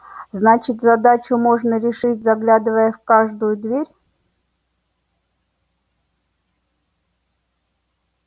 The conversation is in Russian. значит задачу можно решить заглядывая в каждую дверь